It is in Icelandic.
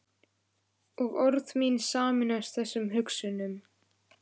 Og orð mín sameinast þessum hugsunum.